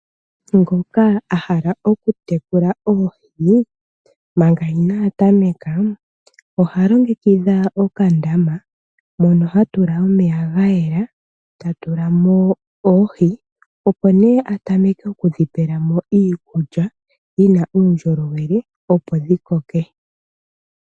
Ngoka a hala okutekula oohi manga inaa tameka, oha longekidha okandama mono ha tula omeya ga yela ta tula mo oohi, opo nee a tameke oku dhi pela mo iikulya yi na uundjolowele, opo dhi koke.